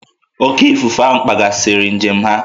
Oké ifufe ahụ kpaghasịrị njem ha